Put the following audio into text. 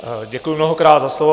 Děkuji mnohokrát za slovo.